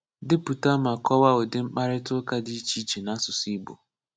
Depụta ma kowaa udi mkparita uka di iche iche n‘asụsụ Igbo.